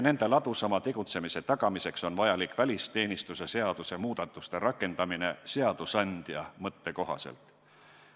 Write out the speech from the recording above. Nende ladusama tegutsemise tagamiseks on vajalik välisteenistuse seaduse muudatuste rakendamine seadusandja mõtte kohaselt.